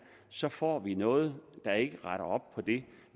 så får vi noget der ikke retter op på det